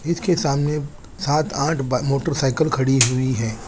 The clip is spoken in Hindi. इसके सामने सात आठ मोटरसाइकिल खड़ी हुई है।